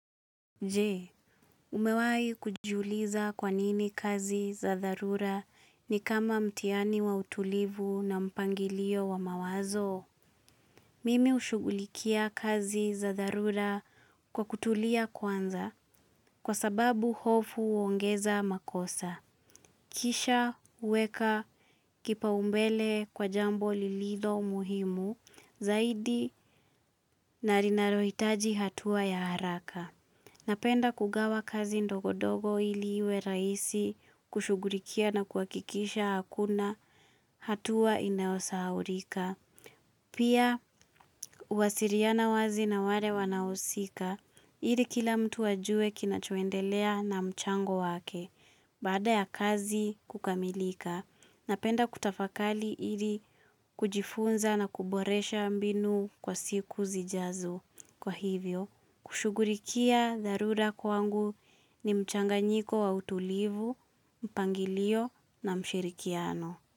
Je, umewahi kujiuliza kwa nini kazi za dharura ni kama mtihani wa utulivu na mpangilio wa mawazo? Mimi hushughulikia kazi za dharura kwa kutulia kwanza kwa sababu hofu huongeza makosa. Kisha huweka kipaumbele kwa jambo lililo muhimu zaidi na linalohitaji hatua ya haraka. Napenda kugawa kazi ndogo ndogo ili iwe rahisi kushughulikia na kuhakikisha hakuna hatua inayosahaulika. Pia huwasiliana wazi na wale wanaohusika ili kila mtu ajue kinachoendelea na mchango wake baada ya kazi kukamilika. Napenda kutafakari ili kujifunza na kuboresha mbinu kwa siku zijazo. Ni mchanganyiko wa utulivu, mpangilio na mshirikiano.